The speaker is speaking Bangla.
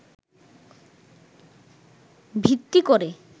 ভিত্তি করে